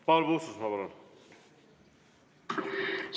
Paul Puustusmaa, palun!